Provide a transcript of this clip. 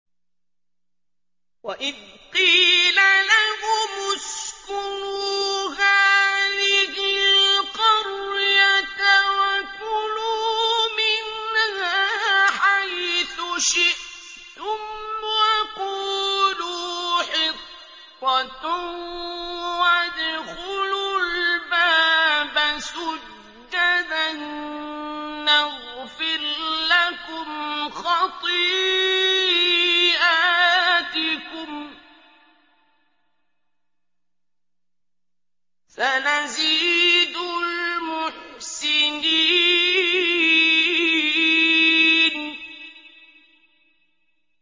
وَإِذْ قِيلَ لَهُمُ اسْكُنُوا هَٰذِهِ الْقَرْيَةَ وَكُلُوا مِنْهَا حَيْثُ شِئْتُمْ وَقُولُوا حِطَّةٌ وَادْخُلُوا الْبَابَ سُجَّدًا نَّغْفِرْ لَكُمْ خَطِيئَاتِكُمْ ۚ سَنَزِيدُ الْمُحْسِنِينَ